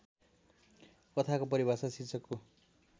कथाको परिभाषा शीर्षकको